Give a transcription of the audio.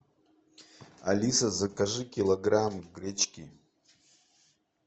алиса закажи килограмм гречки